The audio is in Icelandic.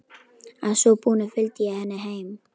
Að svo búnu fylgdi ég henni heim.